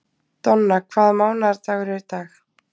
Donna, hvaða mánaðardagur er í dag?